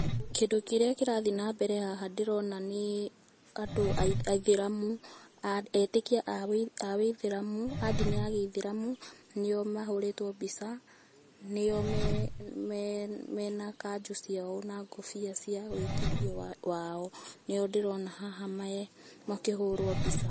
Kĩndũ kĩrĩa kĩrathĩi nambere haha ndĩrona nĩ andũ aithĩramu, etĩkia a wĩithĩramu, a ndini ya gĩithĩramu, nĩo mahũrĩtwo mbica, nĩo me me mena kanjũ ciao, na ngũbia cia wĩtĩkio wa wao. Nĩo ndĩrona haha me makĩhũrwo mbica.